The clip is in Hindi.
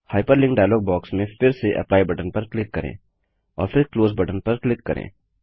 हाइपरलिंक डायलॉग बॉक्स में फिर से एप्ली बटन पर क्लिक करें और फिर क्लोज बटन पर क्लिक करें